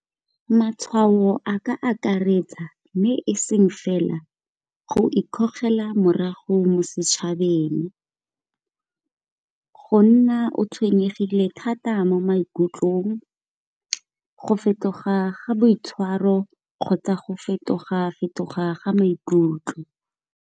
Matshwao a ka akaretsa mme e seng fela go ikgogela morago mo setšhabeng. Go nna o tshwenyegile thata mo maikutlong, go fetoga ga boitshwaro kgotsa go fetoga fetoga ga maikutlo.